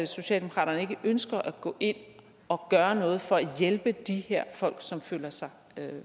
socialdemokraterne ikke ønsker at gå ind og gøre noget for at hjælpe de her folk som føler sig